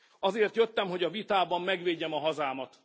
Azért jöttem, hogy a vitában megvédjem a hazámat.